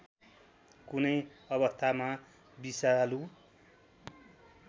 कुनै अवस्थामा विषालु